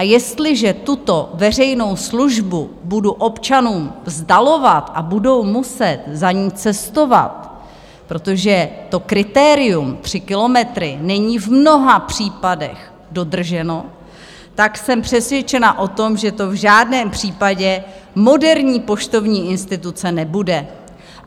A jestliže tuto veřejnou službu budu občanům vzdalovat a budou muset za ní cestovat, protože to kritérium tři kilometry není v mnoha případech dodrženo, tak jsem přesvědčena o tom, že to v žádném případě moderní poštovní instituce nebude.